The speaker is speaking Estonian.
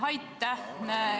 Aitäh!